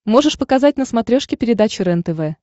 можешь показать на смотрешке передачу рентв